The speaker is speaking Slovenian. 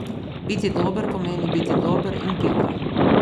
Biti dober pomeni biti dober in pika.